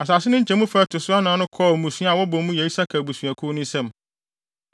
Asase no nkyɛmufa a ɛto so anan no kɔɔ mmusua a wɔbɔ mu yɛ Isakar abusuakuw no nsam.